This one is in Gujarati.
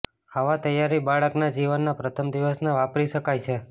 આવા તૈયારી બાળકના જીવનના પ્રથમ દિવસના વાપરી શકાય છે